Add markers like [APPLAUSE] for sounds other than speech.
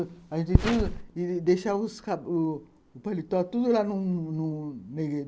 A gente [UNINTELLIGIBLE] que deixar o paletó tudo lá no no. [UNINTELLIGIBLE]